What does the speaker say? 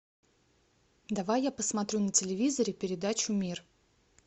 давай я посмотрю на телевизоре передачу мир